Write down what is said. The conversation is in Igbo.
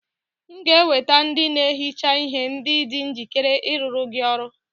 M ga-eweta ndị na-ehicha ihe ndị dị njikere ịrụrụ gị ọrụ